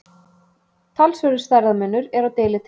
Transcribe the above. Talsverður stærðarmunur er á deilitegundum.